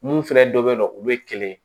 Mun fɛnɛ dɔ bɛ yen nɔ olu ye kɛlɛ ye